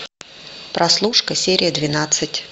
прослушка серия двенадцать